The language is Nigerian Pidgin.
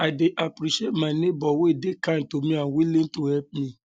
i dey appreciate my neighbor um wey um dey kind to me and willing to help me